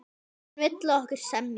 Hann vill, að okkur semji.